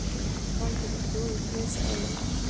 Ég fann hvernig blóðið fraus í æðum mér.